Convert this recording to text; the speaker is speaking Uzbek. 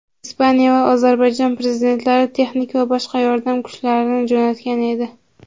Ispaniya va Ozarbayjon Prezidentlari texnik va boshqa yordam kuchlarini jo‘natgan edi.